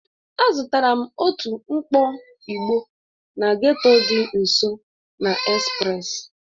Azụtara m otu mkpọ ịgbo na getto dị nso na express